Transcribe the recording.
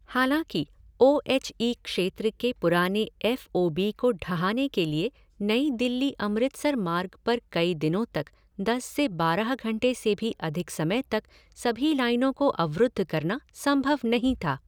हालांकि, O H E क्षेत्र के पुराने एफ़ ओ बी को ढहाने के लिए नई दिल्ली अमृतसर मार्ग पर कई दिनों तक दस से बारह घंटे से भी अधिक समय तक सभी लाइनों को अवरुद्ध करना संभव नहीं था।